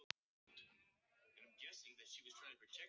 Kemur Gaukur þá ekki hingað í kvöld?